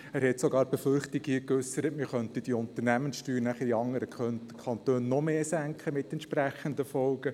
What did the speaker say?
Er hat sogar Befürchtungen geäussert, man könnte dann die Unternehmenssteuer in anderen Kantonen noch mehr senken, mit entsprechenden Folgen.